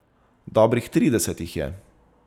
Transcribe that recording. Dobrih trideset jih je.